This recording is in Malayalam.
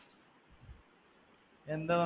എന്താ വന്ന്